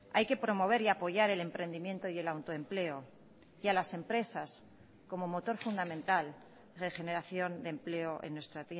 hay que promover y apoyar el emprendimiento y el autoempleo y a las empresas como motor fundamental regeneración de empleo en nuestra